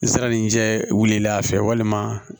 Nsɛrɛnin jɛ wilila a fɛ walima